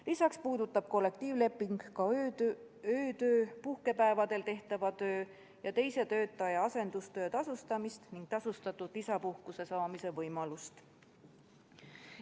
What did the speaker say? Lisaks puudutab kollektiivleping ka tasustamist öötöö, puhkepäevadel tehtava töö ja teise töötaja asendamise eest ning tasustatud isapuhkuse saamise võimalust.